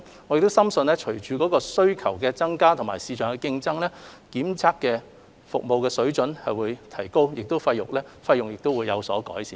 我們深信隨着需求增加和市場競爭，檢測的服務水準將會提高，而費用亦會有所改善。